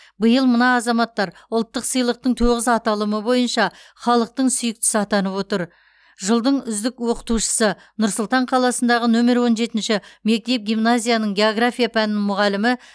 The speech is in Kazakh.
биыл мына азаматтар ұлттық сыйлықтың тоғыз аталымы бойынша халықтың сүйіктісі атанып отыр жылдық үздік оқытушысы нұр сұлтан қаласындағы нөмір он жетінші мектеп гимназияның география пәнінің мұғалімі